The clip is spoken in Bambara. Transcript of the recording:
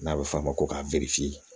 N'a bɛ f'a ma ko ka